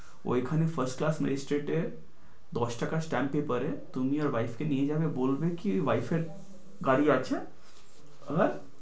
ওইখানে ফাস্টার মেস্টেটে দশ টাকা stamp paper এ তুমি ওই bike কে নিয়ে যাবে বলবে কি wife এর গাড়ি আছে হ্যাঁ